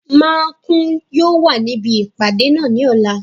Makun yóò wà níbi ìpàdé náà ní ọ̀la